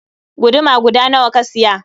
Guduma guda nawa ka siya?